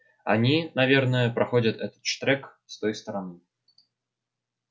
они наверно проходят этот штрек с той стороны